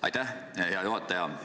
Aitäh, hea juhataja!